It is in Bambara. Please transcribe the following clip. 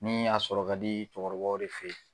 Ni a sɔrɔ ka di cɛkɔrɔbaw de fe yen